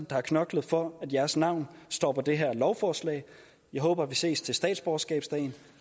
der har knoklet for at jeres navne står på det her lovforslag jeg håber vi ses til statsborgerskabsdagen